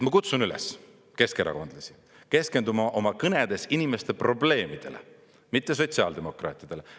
Ma kutsun üles keskerakondlasi keskenduma oma kõnedes inimeste probleemidele, mitte sotsiaaldemokraatidele.